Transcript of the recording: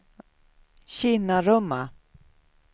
Kinnarumma